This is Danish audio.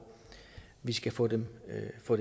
vi skal få dem